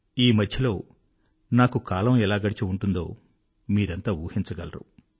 ఈ మధ్యలో నాకు కాలం ఎలా గడిచి ఉంటుందో మీరంతా ఊహించగలరు